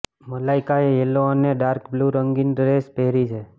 મલાઈકાએ yellow અને dark blue રંગની dress પહેરી છે